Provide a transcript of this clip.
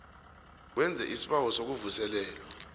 wenze isibawo sokuvuselelwa